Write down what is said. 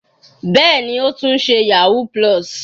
Bẹ́ẹ̀ni, ó tún ṣe yahoo+.